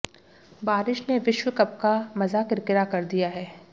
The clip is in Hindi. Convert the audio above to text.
बारिश ने विश्वकप का मजा किरकिरा कर दिया है